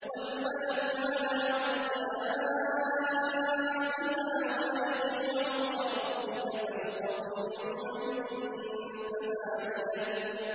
وَالْمَلَكُ عَلَىٰ أَرْجَائِهَا ۚ وَيَحْمِلُ عَرْشَ رَبِّكَ فَوْقَهُمْ يَوْمَئِذٍ ثَمَانِيَةٌ